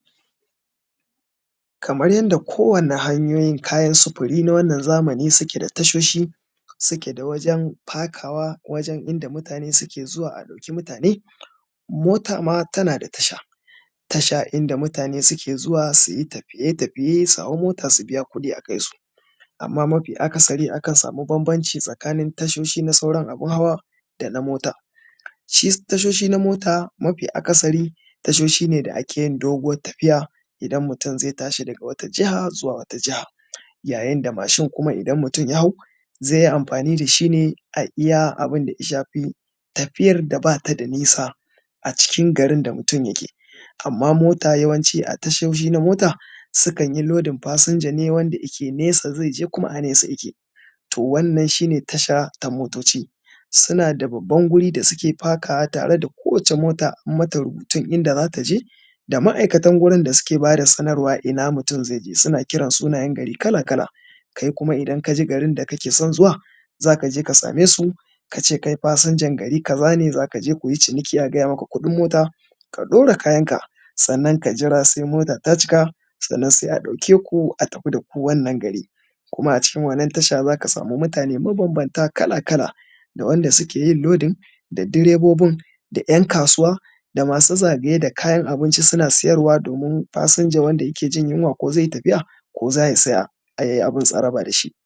kamar yanda ko wani hanyoyin kayan sufuri na wannan zamani suke da ta shoshi su keda wajen fakawa wajen inda mutane suke zuwa a dauki mutane mota ma tanada tasha tasha inda mutane suke zuwa suyi tafiye tafiye su hau mota su biya kudi a kaisu amma mafi akasari akan sami banbanci tsakanin tashoshi na sauran abun hawa dana mota shi tashoshi na mota mafi akasari tashoshi ne da akeyin doguwar tafiya idan mutum zai tashi daga wata jiha zuwa wata jiha yayinda mashin kuma idan mutun ya hau zaiyi amfani dashi ne a iyya abinda ya shafi tafiyar da bata da nisa a cikin garin da mutum yake amma mota yawanci a tashoshi na mota sukan yi lodin fashinja ne wanda ike nesa zaije kuma a nesa ike to wannan shine tasha ta motoci sunada babban wuri da suke fakawa tare da kowacce mota an mata rubutun inda zata je da maikatan gurun da suke bada sanarwa ina mutun zaije suna kiran sunayan gari kala kala kai kuma idan kaji garin da kake son zuwa zaje ka same su kace kai fasinjan gari kaza ne zaka je kuyi ciniki a gaya maka kudin mota ka dora kayanka sannan ka jira sai mota ta cika sannan sai a dauke ku a tafi daku wannan gari kuma a cikin wannan tasha zaka samu mutane ma banbanta kala kala da wanda sukeyi lodin da direbobin da yan kasuwa da masu zagaye da kayan abinci suna siyarwa domin fasinja wanda yakejin yunwa ko zai yi tafiya ko zaya siya um abun tsaraba dashi